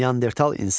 Neandertal insan.